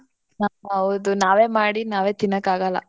ಹಾ ಹೌದು. ನಾವೇ ಮಾಡಿ ನಾವೇ ತಿನ್ನಕಾಗಲ್ಲ.